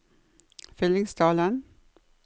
Fyllingsdalen